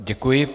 Děkuji.